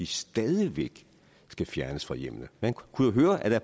stadig væk skal fjernes fra hjemmene man kunne jo høre at der